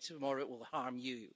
maybe tomorrow it will harm you.